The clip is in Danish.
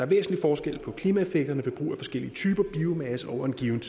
væsentlig forskel på klimaeffekterne ved brug af forskellige typer biomasse over en given